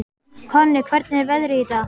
Konni, hvernig er veðrið í dag?